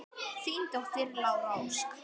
Þín dóttir, Lára Ósk.